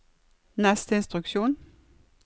neste instruksjon